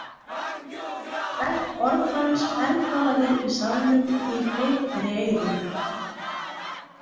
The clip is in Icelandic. Hvert orð hans bergmálaði í salnum og ég greip fyrir eyrun.